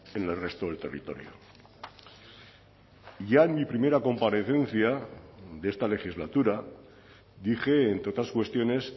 en el resto del territorio ya en mi primera comparecencia de esta legislatura dije entre otras cuestiones